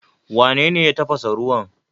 Wanene ya tafasa ruwan?